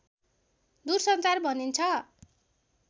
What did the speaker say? दूरसञ्चार भनिन्छ